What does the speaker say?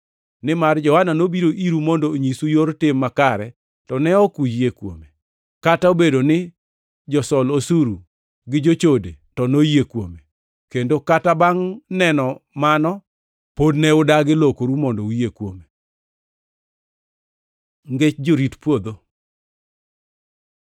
Nimar Johana nobiro iru mondo onyisu yor tim makare, to ne ok uyie kuome, kata obedo ni josol osuru gi jochode to noyie kuome. Kendo kata bangʼ neno mano, pod ne udagi lokoru mondo uyie kuome. Ngech jorit puodho